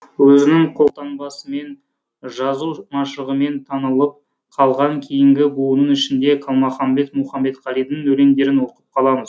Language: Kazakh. өзінің қолтаңбасымен жазу машығымен танылып қалған кейінгі буынның ішінде қалмаханбет мұхаметқалидың өлеңдерін оқып қаламыз